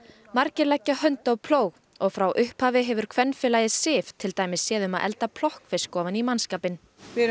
margir leggja hönd á plóg og frá upphafi hefur kvenfélagið Sif til dæmis séð um að elda plokkfisk ofan í mannskapinn við erum